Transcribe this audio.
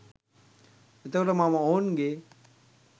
එතකොට මම ඔවුන්ගේ